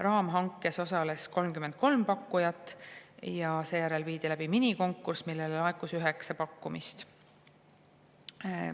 Raamhankes osales 33 pakkujat ja seejärel viidi läbi minikonkurss, kuhu laekus üheksa pakkumist.